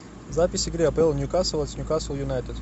запись игры апл ньюкасл с ньюкасл юнайтед